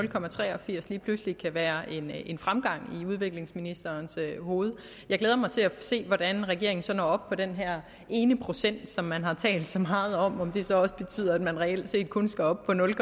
det er pludselig kan være en fremgang i udviklingsministerens hoved jeg glæder mig til at se hvordan regeringen så når op på den her ene procent som man har talt så meget om og om det så også betyder at man reelt set kun skal op på nul